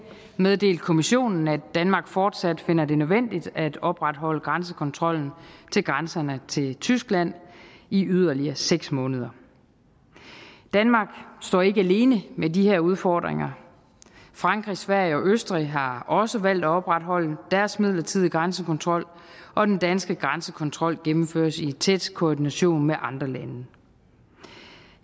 meddelt kommissionen at danmark fortsat finder det nødvendigt at opretholde grænsekontrollen ved grænserne til tyskland i yderligere seks måneder danmark står ikke alene med de her udfordringer frankrig sverige og østrig har også valgt at opretholde deres midlertidige grænsekontrol og den danske grænsekontrol gennemføres i en tæt koordination med andre lande